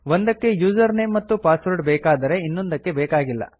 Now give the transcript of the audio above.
ಒಂದಕ್ಕೆ user name ಮತ್ತು password ಬೇಕಾದರೆ ಇನ್ನೊಂದಕ್ಕೆ ಬೇಕಾಗಿಲ್ಲ